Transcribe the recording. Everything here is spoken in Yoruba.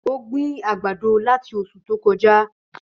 Ó gbin ìgbàdo láti osù tó kojá.